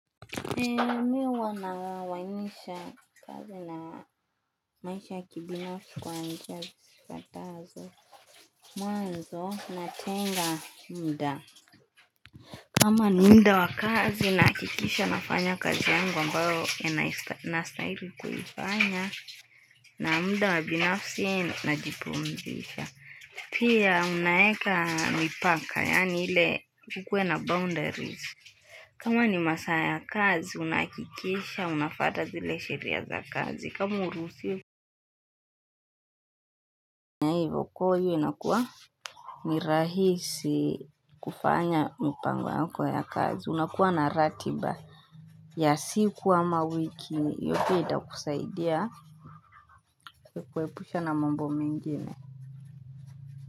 Miwa wanawainisha kazi na maisha kibinafsi kwa anjia zifatazo mwa nzo natenga mda kama ni mda wakazi na akikisha nafanya kazi yangu ambayo enastairi kuhifanya na mda wabinafsi na jipumzisha. Pia unaeka mipaka yaani ile kukwe na boundaries. Kama ni masaa ya kazi, unakikisha, unafata zile sheria za kazi. Kama uruhusiwi fanya ivo kwaio inakuwa nirahisi. Kufanya mpango yako ya kazi. Unakuwa na ratiba. Ya si kuwa mawiki, yopi ida kusaidia kuepusha na mambo mengene.